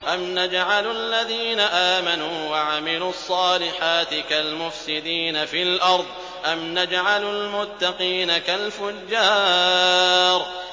أَمْ نَجْعَلُ الَّذِينَ آمَنُوا وَعَمِلُوا الصَّالِحَاتِ كَالْمُفْسِدِينَ فِي الْأَرْضِ أَمْ نَجْعَلُ الْمُتَّقِينَ كَالْفُجَّارِ